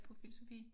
På filosofi?